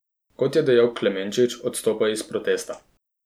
Kot je dejal Klemenčič, odstopajo iz protesta.